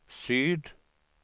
syd